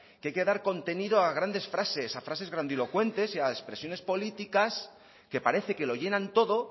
que hay que dar contenido a grandes frases a frases grandilocuentes y a expresiones políticas que parece que lo llenan todo